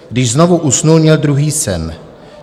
Když znovu usnul, měl druhý sen.